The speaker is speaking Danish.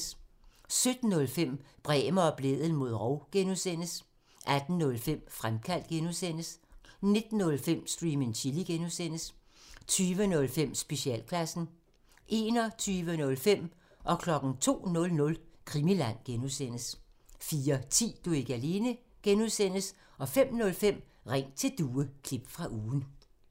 17:05: Bremer og Blædel mod rov (G) 18:05: Fremkaldt (G) 19:05: Stream and Chill (G) 20:05: Specialklassen 21:05: Krimiland (G) 02:00: Krimiland (G) 04:10: Du er ikke alene (G) 05:05: Ring til Due – klip fra ugen